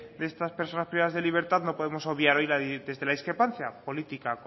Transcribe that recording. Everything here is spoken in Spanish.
de estas personas privadas de libertad no podemos obviar hoy desde la discrepancia política